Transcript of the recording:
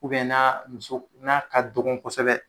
na muso n'a ka dɔgɔ kosɛbɛ